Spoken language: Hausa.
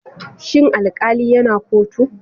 Shin alkali yana kotu?